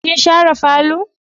Kin share falo?